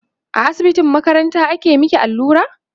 a asibitin makaranta aka maki allura?